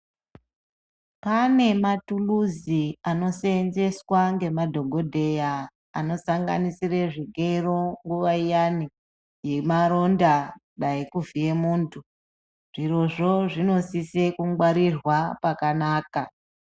Pane matuluzi ano seenzeswa ngemadhokodheya anosanganisira zvigero nguvaiyani yemaronda dai kuvhiye muntu zvirizvo zvinosisa kungwarirwa pakanaka.